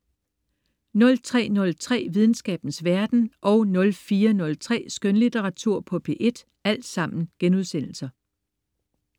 03.03 Videnskabens verden* 04.03 Skønlitteratur på P1*